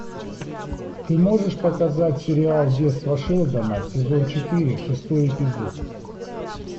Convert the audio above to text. ты можешь показать сериал детство шелдона сезон четыре шестой эпизод